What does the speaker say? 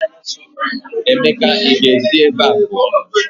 Emeka ị ga-esi ebe a pụọ!